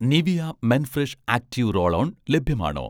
Nivea' men fresh active roll on ലഭ്യമാണോ?